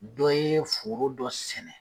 Dɔ ye foro dɔ sɛnɛ.